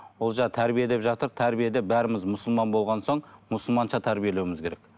ол жай тәрбиелеп жатып тәрбиеде бәріміз мұсылман болған соң мұсылманша тәрбиелеуіміз керек